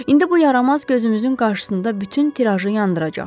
İndi bu yaramaz gözümüzün qarşısında bütün tirajı yandıracaq.